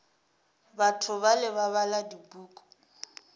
batho bale ba bala dipuku